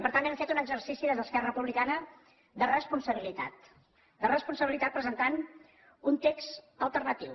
i per tant hem fet un exercici des d’esquerra republicana de responsabilitat de responsabilitat presentant un text alternatiu